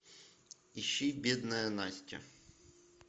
ищи бедная настя